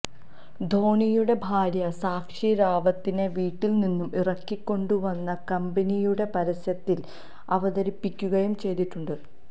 ധോണിയുടെ ഭാര്യ സാക്ഷി റാവത്തിനെ വീട്ടില് നിന്നും ഇറക്കിക്കൊണ്ടുവന്ന് കമ്പനിയുടെ പരസ്യത്തില് അവതരിപ്പിക്കുകയും ചെയ്തിട്ടുണ്ട്